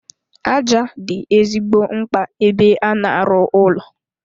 Aja dị ezigbo mkpa ebe a na-arụ ụlọ.